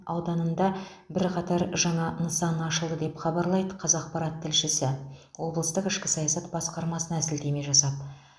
ауданында бірқатар жаңа нысан ашылды деп хабарлайды қазақпарат тілшісі облыстық ішкі саясат басқармасына сілтеме жасап